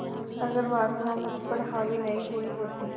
अगर वासना मुझ पर हावी नहीं हुई होती